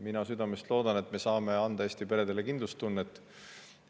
Mina südamest loodan, et me saame anda Eesti peredele kindlustunnet.